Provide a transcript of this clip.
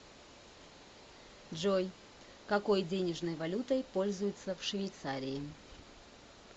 джой какой денежной валютой пользуются в швейцарии